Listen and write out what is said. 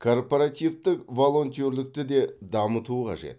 корпоративтік волонтерлікті де дамыту қажет